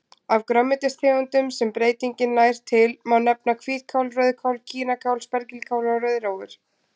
Af grænmetistegundum sem breytingin nær til má nefna hvítkál, rauðkál, kínakál, spergilkál og rauðrófur.